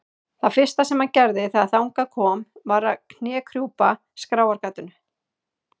Það fyrsta sem hann gerði þegar þangað kom var að knékrjúpa skráargatinu.